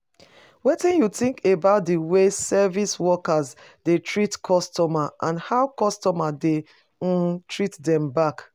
Wetin you think about di way service workers dey treat customers and how customers dey um treat dem back?